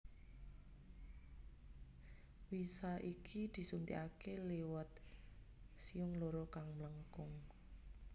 Wisa iki disuntikake liwat siung loro kang mlengkung